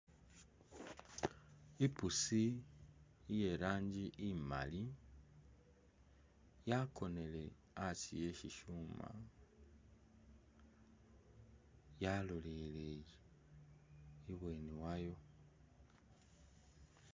I'pusi iye rangi imali, yakonele asi eh syisyuma yalolelele ibweni wayo.